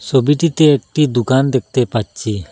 ছবিটিতে একটি দোকান দেখতে পাচ্ছি।